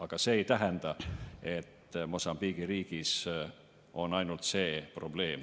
Aga see ei tähenda, et Mosambiigi riigis on ainult see probleem.